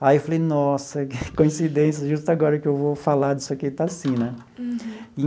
Aí eu falei, nossa, que coincidência, justo agora que eu vou falar disso aqui está assim, né?